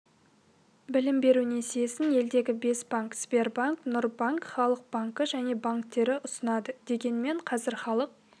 білім беру несиесін елдегі бес банк сбербанк нұрбанк халық банкі және банктері ұсынады дегенмен қазір халық